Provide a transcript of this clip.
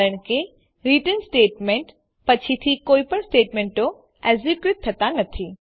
કારણ કે return statement પછીથી કોઈપણ સ્ટેટમેંટો એક્ઝેક્યુટ થતા નથી